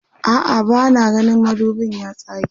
a'a bana gani madubin ya tsage